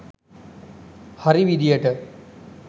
හරි විදිහට